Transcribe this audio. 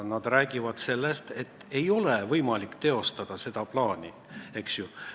Nad rääkisid, et ei ole võimalik esialgset plaani teostada.